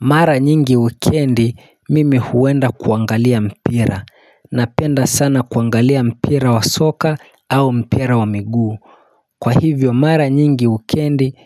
Mara nyingi wikendi mimi huenda kuangalia mpira napenda sana kuangalia mpira wa soka au mpira wa miguu Kwa hivyo mara nyingi wikendi